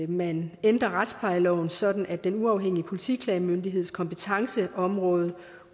man ændrer retsplejeloven sådan at den uafhængige politiklagemyndigheds kompetenceområde